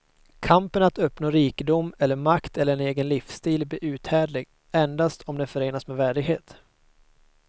Kampen att uppnå rikedom eller makt eller en egen livsstil blir uthärdlig endast om den förenas med värdighet.